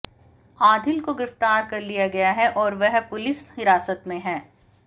आधिल को गिरफ्तार कर लिया गया है और वह पुलिस हिरासत में है